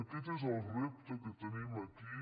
aquest és el repte que tenim aquí